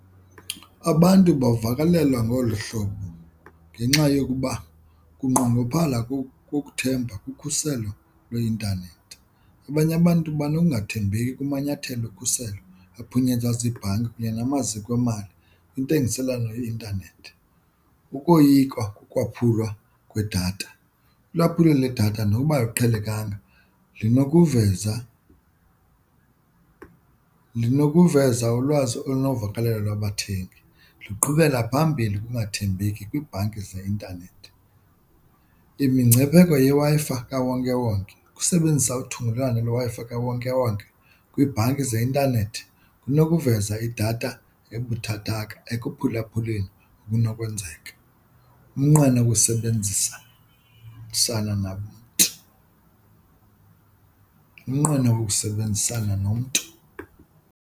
Abantu bavakalelwa ngolu hlobo ngenxa yokuba kunqongophala kokukuthemba kukhuselo lweintanethi. Abanye abantu banokungathembeki kumanyathelo okhuselo ayaphunyezwa ziibhanki kunye namaziko emali, intengiselwano yeintanethi, ukoyika kokwaphulwa kwedatha. Ulwaphulo ledatha noba aluqhelekanga linokuveza lunokuveza ulwazi olunovakalelo lwabathengi, liqhubela phambili ukungathembeki kwiibhanki zeintanethi. Imingcipheko yeWi-Fi kawonkewonke, ukusebenzisa uthungelwano lweWi-Fi kawonkewonke kwiibhanki zeintanethi kunokuveza idatha ebuthathaka ekuphulaphuleni, kunokwenzeka umnqweno ukusebenzisa namntu umnqweno wokusebenzisana nomntu.